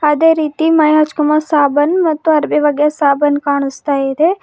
ಅದೇ ರೀತಿ ಮೈಗ್ ಹಚ್ಕೋಬ್ ಸಾಬೂನ್ ಮತ್ತು ಅರಿವೆ ಒಗ್ಯೋ ಸಾಬೂನ್ ಕಾಣಿಸ್ತಾ ಇದೆ.